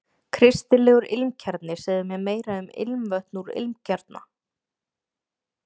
Kristilegur ilmkjarni Segðu mér meira um ilmvötn úr ilmkjarna?